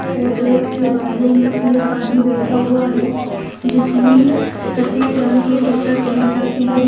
और रोड के बाजू मे एक आदमी बैठा हुआ है जिसमे सफ़ेद रंग टी-शर्ट पहन रखी है।